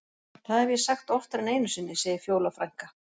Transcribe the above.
Það hef ég sagt oftar en einu sinni, segir Fjóla frænka.